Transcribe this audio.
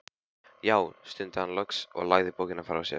Já, stundi hann loks og lagði bókina frá sér.